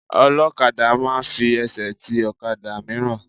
Ọlọ́kadà máa ń fi ẹsẹ̀ ti ọ̀kadà mìíràn.